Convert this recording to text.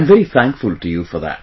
I am very thankful to you for that